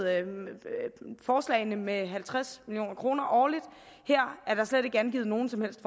forslagene med halvtreds million kroner årligt her er der slet ikke angivet nogen som helst